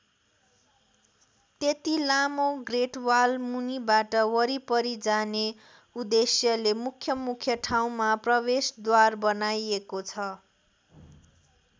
त्यति लामो ग्रेटवाल मुनिबाट वारिपारि जाने उद्देश्यले मुख्यमुख्य ठाउँमा प्रवेशद्वार बनाइएको छ।